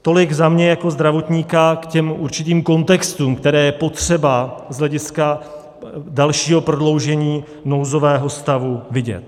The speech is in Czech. Tolik za mě jako zdravotníka k těm určitým kontextům, které je potřeba z hlediska dalšího prodloužení nouzového stavu vidět.